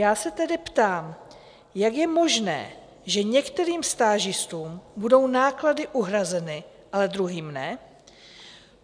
Já se tedy ptám, jak je možné, že některým stážistům budou náklady uhrazeny a druhým ne?